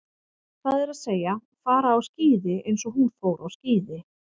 Það er að segja, fara á skíði eins og hún fór á skíði.